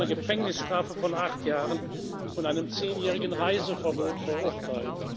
Er wurde zu einer Gefängnisstrafe von acht Jahren und einem zehnjährigen Reiseverbot verurteilt.